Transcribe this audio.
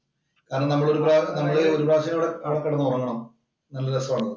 കാരണം നമ്മള് ഒരു പ്രാവശ്യം അവിടെ അവിടെ കെടന്നുറങ്ങണം. നല്ല രസമാണ്.